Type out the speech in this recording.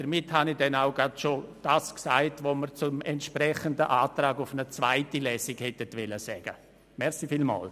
Damit habe ich meine Aussage zum entsprechenden Antrag bezüglich zweiter Lesung bereits gemacht.